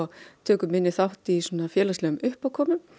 tökum minni þátt í félagslegum uppákomum